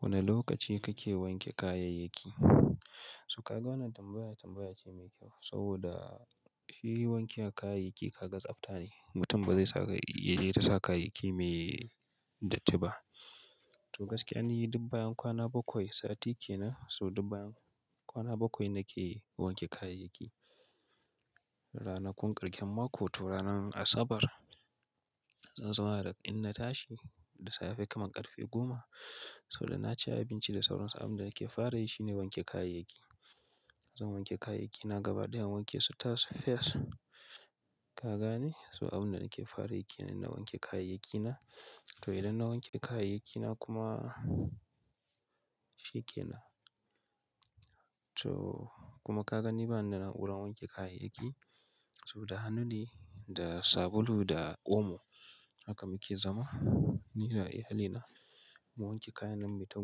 Wane lokaci kake wanke kayayyaki? So kaga wannan tambaya tambaya ce mai kyau saboda shi wanke kayayyaki kaga tsabta ne. Mutum ba zai saka yaje yai ta sa kayayyaki mai datti ba. To gaskiya ni dub bayan kwana bakwai sati ke nan so dub bayan kwana bakwai nake wanke kayayyaki. Ranakun ƙarƙen mako to ranar Asabar zan zauma da in na tashi da safe kaman ƙarfe goma so da na ci abinci da sauran su abin da nake fara yi shine wanke kayayyaki. Zan wanke kayayyaki na gaba ɗaya in wanke su tas fes. Kaga ne so abin da nake fara yi ke nan na wanke kayayyaki na. To idan na wanke kayayyaki na kuma shi ke nan. To kuma kaga ni ba ni na nauran wanke kayayyaki so da hannu ne, da sabulu da omo haka muke zama ni da iyalina. Mu wanke kayan nan, muyita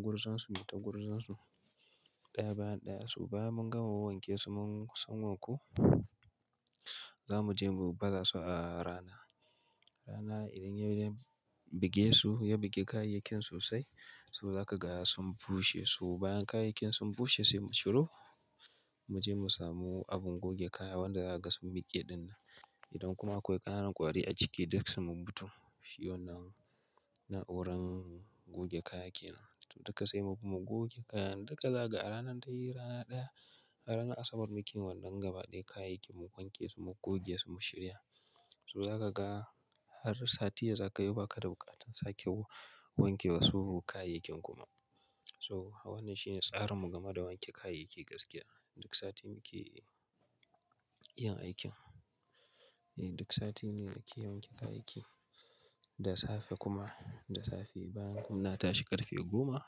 gurzan su, muyita gurzan su ɗaya bayan ɗaya. So bayan mun gama wan wanke mun su sun wanku za mu je mu baza su a rana. Rana idan ya ya buge su, ya buge kayayakin sosai so za ka ga sun bushe. To bayan kayayyakin sun bushe sai mu ciro mu je mu samu abin goge kaya wanda za a gasa miƙe ɗin nan. Idan kuma akwai ƙananan ƙwari a ciki duk su mun mutu. Shi wannan na'uran goge kaya ke nan. To duka sai mu kuma goge kayan duka zaga a ranar dai rana ɗaya. A ranar Asabar muke wannan gaba ɗaya kayayyakin mu wanke su mu goge su mu shirya. So za ka ga har sati ya zagayo ba ka da buƙatar sake wanke wasu kayayyakin kuma. So wannan shine tsarin mu game da wanke kayayyaki gaskiya. Duk sati muke yin aikin. Eh duk sati ne na ke yawan wanke kayayyaki. Da safe kuma da safe bayan inna tashi ƙarfe goma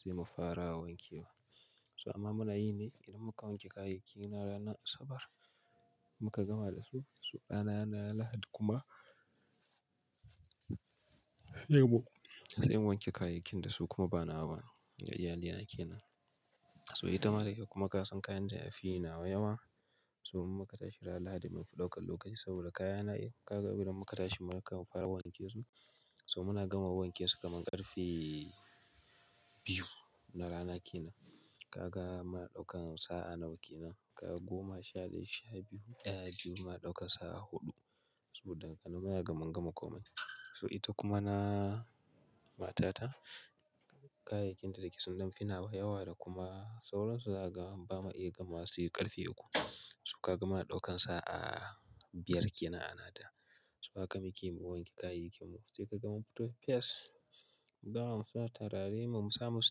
sai mu fara wanke wa. So amma muna yi ne idan muka wanke kayayyaki na ranar Asabar muka gama da su, so rana na Lahadi kuma sai mu wanke kayayyakin da su kuma ba na wa ba na iyalina ke nan. So ita ma dai da yake kuma ka san kayan ta ya fi nawa yawa so in muka tashi ranar Lahadi mun fi ɗaukan lokaci saboda kayana kaga idan muka tashi muka fara wanke su so muna gama wanke su kaman ƙarfe biyu na rana ke nan. Kaga muna daukan sa'a nawa ke nan? Kaga goma sha daya sha biyu ɗaya biyu mun dauka sa'a huɗu saboda ƙananan yara gaman gama komai. So ita kuma na matata kayayyakin ta da yake sun nawa yawa da kuma sauran su za ka bama iya gamawa ba sai ƙarfe uku. So kaga muna ɗaukan sa'a biyar ke nan a nata. So haka muke mu wanke kayayyakin mu. Sai ka ga mun fito fes mu gama musa musu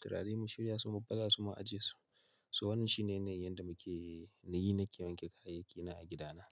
turare mu shirya su mu baza su mu ajiye su. So wannan shine yana yin yanda muke na yi na ke wanke kayayyaki na a gidana.